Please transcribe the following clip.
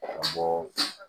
Ka bɔ